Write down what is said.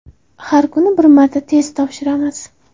Har kuni bir marta test topshiramiz.